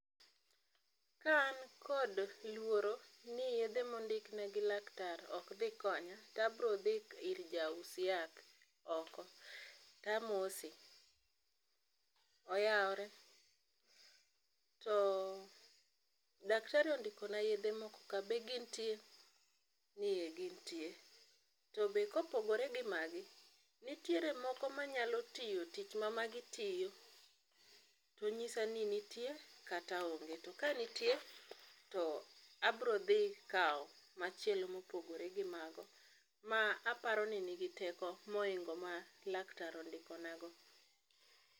Ka an kod luoro ni yiedhe ma ondikna gi laktar ok dhi konya, to abirodhi ir ja us yath, oko to amose. "Oyaore, to daktari ondikona yiedhe moko ka be gintie?" Ni e gintie. "To be kopogore gi magi, nitiere moko manyalo tiyo tich ma magi tiyo?" To onyisa ni nitie, kata onge. To kanitie, to abrodhi kawo machielo mopogore go mago, ma aparo ni nigi teko mohingo ma laktar ondikonago.